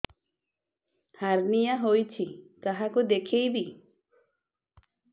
hernia ହୋଇଛି କାହାକୁ ଦେଖେଇବି